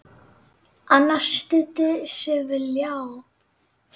Annar studdi sig við ljá.